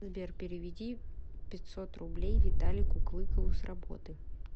сбер переведи пятьсот рублей виталику клыкову с работы